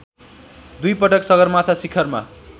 दुईपटक सगरमाथा शिखरमा